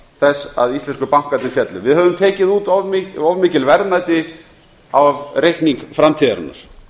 þess að íslensku bankarnir féllu við höfum tekið út of mikil verðmæti af reikningi framtíðarinnar